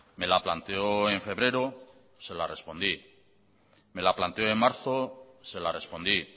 me la planteó en febrero se la respondí me la planteó en marzo se la respondí